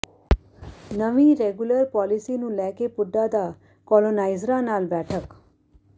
ਨਵੀਂ regular policy ਨੂੰ ਲੈ ਕੇ ਪੁੱਡਾ ਵਲੋਂ ਕਾਲੋਨਾਈਜ਼ਰਾਂ ਨਾਲ ਬੈਠਕ